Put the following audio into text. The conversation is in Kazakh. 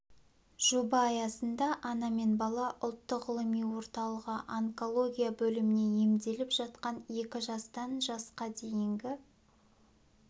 жоба аясында ана мен бала ұлттық ғылыми орталығы онкология бөлімінде емделіп жатқан екі жастан жасқа дейінгі